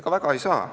Ega väga ei saa.